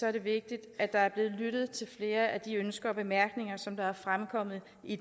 er det vigtigt at der er blevet lyttet til flere af de ønsker og bemærkninger som er fremkommet i